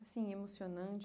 Assim, emocionante?